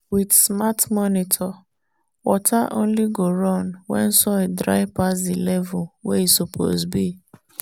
with smart monitor water only go run when soil dry pass the level wey e suppose be.